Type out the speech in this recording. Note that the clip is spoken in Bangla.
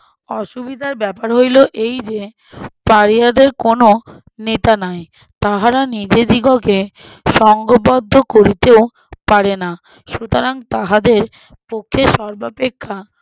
অসুবিধার ব্যাপার হইলো এই যে পাড়িয়াদের কোনো নেতা নাই তাহারা নিজেদিগকে সঙ্গবদ্ধ করিতেও পারে না সুতরাং তাহাদের পক্ষে সর্বাপেক্ষা